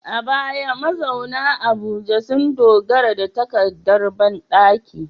A baya, mazauna Abuja sun dogara da takardar bandaki